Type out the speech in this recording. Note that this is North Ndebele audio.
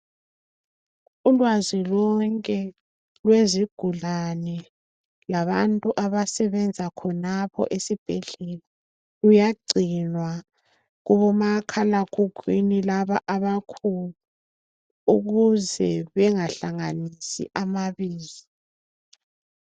Ulwazi lonke lwezigulane, labantu abasebenza khonapho esibhedlela, Luyagcinwa, kubomakhalakhukhwini, laba abakhulu Ukuze bengahlanganisi amabizo.